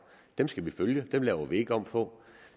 dem skal vi følge dem laver vi ikke om på